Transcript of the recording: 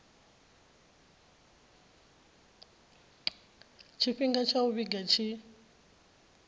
tshifhinga tsha u vhiga tshi